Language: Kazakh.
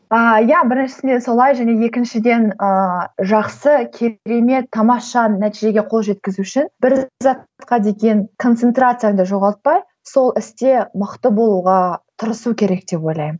ыыы иә біріншісінде солай және екіншіден ыыы жақсы керемет тамаша нәтижеге қол жеткізу үшін бір затқа деген концентрацияңды жоғалтпай сол істе мықты болуға тырысу керек деп ойлаймын